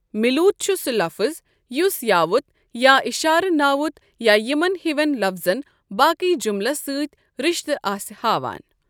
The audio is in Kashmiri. مِلوُت چھُ سُہ لفٕظ یُس یاوت یا اشارٕ ناوُت یا یِمن ہِوىن لفظن باقی جُملس سٕتى رشتہٕ آسِہ ہاوان۔